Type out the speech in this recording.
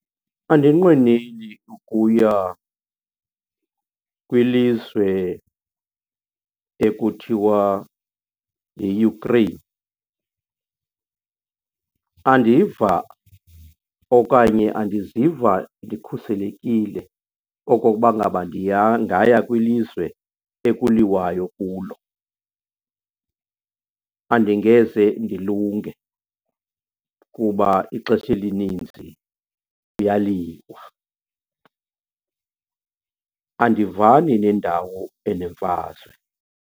Andiyinqweneli ukuya kwilizwe ekuthiwa yiUkraine. Andiva okanye andiziva ndikhuselekile okokuba ngaba kwilizwe ekuliwayo kulo, andingeze ndilunge kuba ixesha elininzi kuyaliwa. Andivani nendawo enemfazwe.